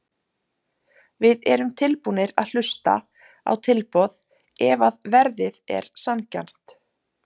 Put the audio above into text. Við erum tilbúnir að hlusta á tilboð ef að verðið er sanngjarnt.